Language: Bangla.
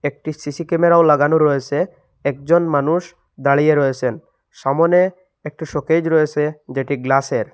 একটি সি_সি ক্যামেরাও লাগানো রয়েসে একজন মানুষ দাঁড়িয়ে রয়েসেন সামোনে একটি শোকেজ রয়েসে যেটি গ্লাসের।